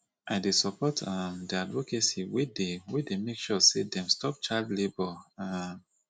i dey support um di advocacy wey dey wey dey make sure sey dem stop childlabour um